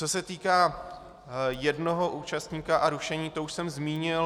Co se týká jednoho účastníka a rušení, to už jsem zmínil.